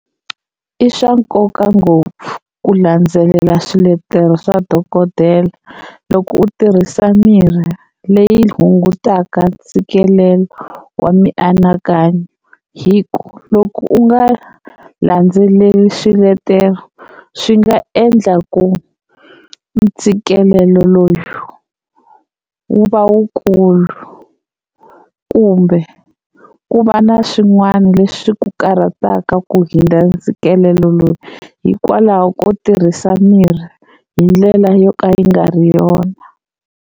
I swa nkoka ngopfu ku landzelela swiletelo swa dokodela loko u tirhisa mirhi leyi hungutaka ntshikelelo wa mianakanyo, hi ku loko u nga landzeleli swiletelo swi nga endla ku ntshikelelo lowu wu va wukulu kumbe ku va na swin'wana leswi ku karhataka ku hundza ntshikelelo lowu hikwalaho ko tirhisa mirhi hi ndlela yo ka yi nga ri yona.